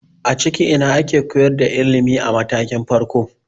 A cikin ina ake koyar da ilimi a matakin farko?